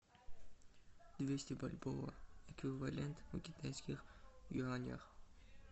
двести бальбоа эквивалент в китайских юанях